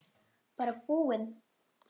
Bara búinn.